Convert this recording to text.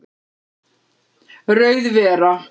Rauð vera